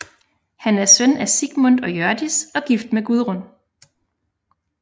Han er søn af Sigmund og Hjørdis og gift med Gudrun